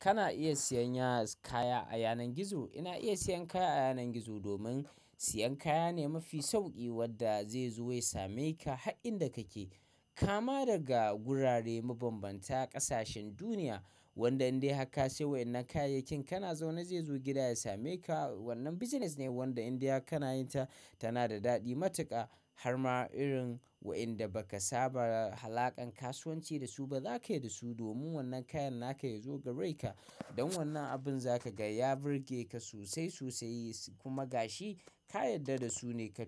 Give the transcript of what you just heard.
Kana iya siyan yaz, kaya a yanar gizo. Ina iya siyan kaya a yanar gizo domin siyan kaya ne mafi sauƙi wanda zai zo ya same ka har in da kake. Kama daga gurare mabanbanta ƙasashen duniya wanda in dai haka sai wa'inan kayakin kana so na zai zo gida ya same ka. Wannan business ne wanda indai har kana yin ta tana da daɗi matuƙa har ma irin wa'inda baka saba alaƙan kasuwanci da su ba zakayi da su domin wannan kayan naka ya zo gare ka. Don wannan abin za ka ga ya birge ka sosai sosai kuma gashi ka yarda da su ne kai.